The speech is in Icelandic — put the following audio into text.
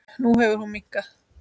Nú hefur hún minnkað.